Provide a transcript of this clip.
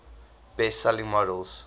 best selling models